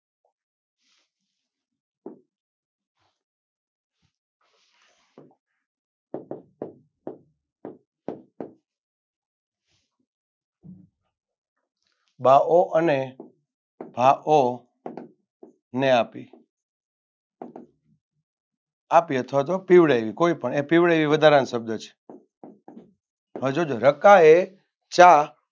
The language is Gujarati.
બાહો અને બાહો ને આપી આપીએ અથવા પીવડાવીએ કોઈપણ પીવડાવીએ વધારાનો શબ્દ છ હજૂજ રક્કાએ ચા